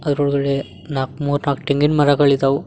ಅದ್ರೊಳಗಡೆ ನಾಕ್ ಮುರ್ನಾಕ್ ತೆಂಗಿನ್ ಮರಗಳಿದಾವು.